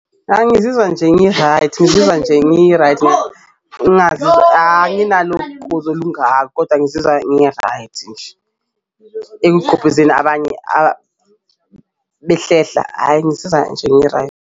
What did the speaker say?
Angizizwa nje ngi-right ngizizwa nje ngi-right ngazi anginalo ugqozi olungako koda ngizizwa ngi-right nje abanye behlehla ayi ngizizwa nje ngi-right.